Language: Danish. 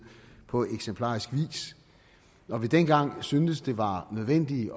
på eksemplarisk vis når vi dengang syntes det var nødvendigt